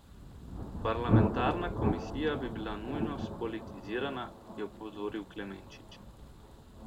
Parlamentarna komisija bi bila nujno spolitizirana, je opozoril Klemenčič.